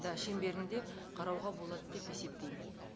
да шеңберінде қарауға болады деп есептеймін